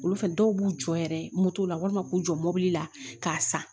Olu fɛn dɔw b'u jɔ yɛrɛ moto la walima k'u jɔ mɔbili la k'a san